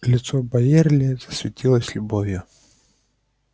лицо байерли засветилось любовью